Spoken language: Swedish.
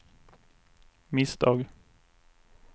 misstag